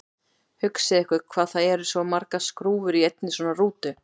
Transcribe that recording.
Hugsið ykkur hvað það eru margar skrúfur í einni svona rútu!